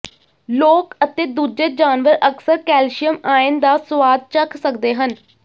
ਲੋਕ ਅਤੇ ਦੂਜੇ ਜਾਨਵਰ ਅਕਸਰ ਕੈਲਸ਼ੀਅਮ ਆਇਨ ਦਾ ਸੁਆਦ ਚੱਖ ਸਕਦੇ ਹਨ